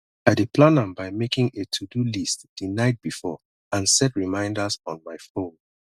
i dey plan am by making a todo list di night before and set reminders on my phone